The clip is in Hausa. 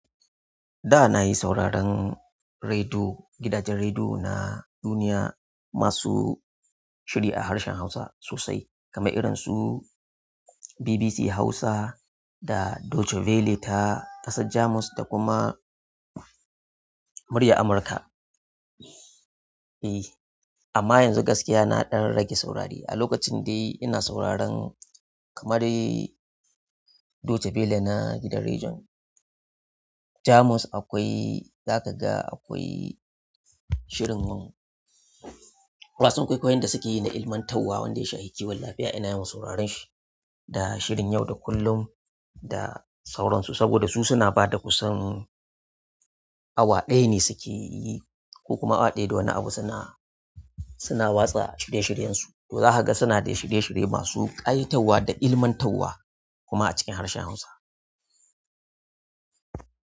Da na yi sauraron rediyo, gidajen rediyo na duniya masu shiri a harshen Hausa sosai, kamar irinsu BBC Hausa da Deutsche Welle ta ƙasa Jamus da kuma Murya Amurka. E, amma yanzu gaskiya na ɗan rage saurari. A lokacin dai ina sauraron kamar dai Deutsche Welle na gidan rediyon. Jamus akwai, za ka ga akwai shirin wasan kwaikwayon da suke yi na ilmantarwa wanda shayankewa lafiya. Ina yawan sauraron shi da shirin yau da kullum da sauransu saboda su suna ba da kusan awa ɗaya ne suke yi ko kuma awa ɗaya da wani abu suna, suna watsa shirye-shiryensu. To za ka ga suna da shirye-shirye masu ƙaitauwa da ilmantarwa kuma a cikin harshen Hausa.